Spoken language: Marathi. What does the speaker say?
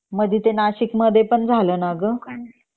मधे ते नाशिक मध्ये पण झालं ना ग